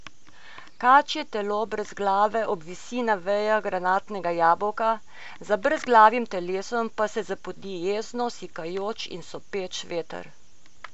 Kačje telo brez glave obvisi na vejah granatnega jabolka, za brezglavim telesom pa se zapodi jezno sikajoč in sopeč veter.